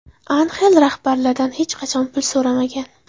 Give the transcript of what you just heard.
Anxel rahbarlardan hech qachon pul so‘ramagan.